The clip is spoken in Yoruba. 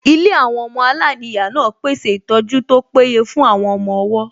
Ilé àwọn ọmọ aláìníyàá náà pèsè ìtọ́jú tó péye fún àwọn ọmọ-ọwọ́